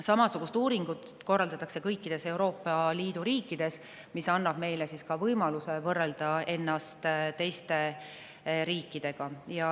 Samasugust uuringut korraldatakse kõikides Euroopa Liidu riikides ja see annab meile võimaluse võrrelda ennast teiste riikidega.